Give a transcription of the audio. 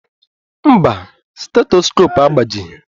Mba, stetoskopu agbajighi